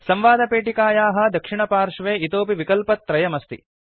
संवादपेटिकायाः दक्षिणपार्श्वे इतोऽपि विकल्पत्रयमस्ति